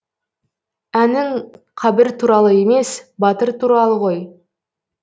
әнің қабір туралы емес батыр туралы ғой